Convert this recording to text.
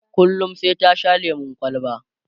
kullum sai ta Sha lemun kwalba